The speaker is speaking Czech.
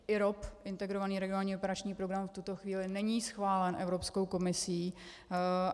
IROP, Integrovaný regionální operační program, v tuto chvíli není schválen Evropskou komisí.